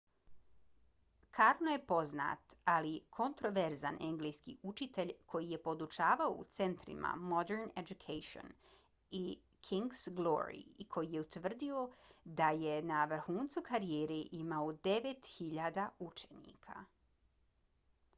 karno je poznat ali kontroverzan engleski učitelj koji je podučavao u centrima modern education i king’s glory i koji je tvrdio da je na vrhuncu karijere imao 9.000 učenika